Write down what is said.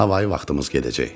Hava-i vaxtımız gedəcək.